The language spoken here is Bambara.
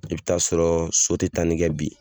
I bɛ taa sɔrɔ so tɛ tanni kɛ bi.